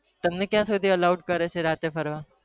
તમને ક્યાં સુધી alow છે રાતે ફરવા